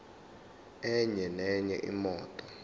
enye nenye imoto